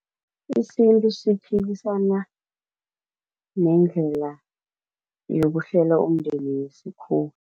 Isintu siphikisana nendlela yokuhlela umndeni yesikhuwa.